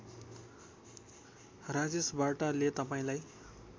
राजेश वार्ताले तपाईँलाई